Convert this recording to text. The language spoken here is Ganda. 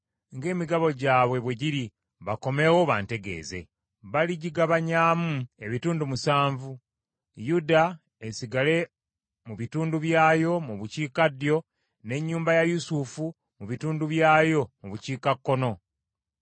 Baligigabanyaamu ebitundu musanvu Yuda esigale mu bitundu byayo mu bukiikaddyo n’ennyumba ya Yusufu mu bitundu byayo mu bukiikakkono.